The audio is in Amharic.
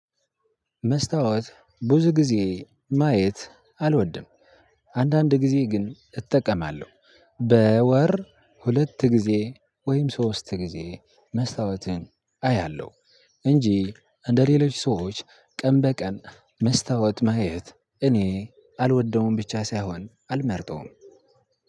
መስታወት ብዙ ጊዜ ማየት አልወድም። አንዳንድ ጊዜ ግን እጠቀማለሁ። በወር ሁለት ጊዜ ወይም ሶስት ጊዜ መስታወትን አያለሁ፤ እንጂ እንደሌሎች ሰዎች ቀን በቀን መስታወት ማየት እኔ አልወደውም ብቻ ሳይሆን አልመርጠውም።